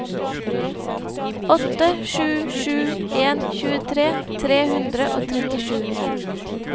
åtte sju sju en tjuetre tre hundre og trettisju